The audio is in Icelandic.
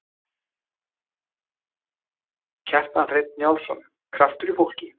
Kjartan Hreinn Njálsson: Kraftur í fólki?